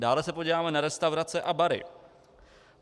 Dále se podíváme na restaurace a bary.